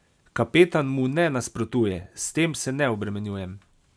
Kapetan mu ne nasprotuje: "S tem se ne obremenjujem.